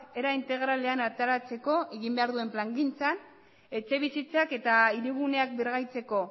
era integralean ateratzeko egin behar duen plangintzan etxebizitzak eta hiriguneak birgaitzeko